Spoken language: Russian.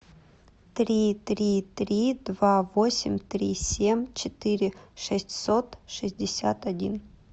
три три три два восемь три семь четыре шестьсот шестьдесят один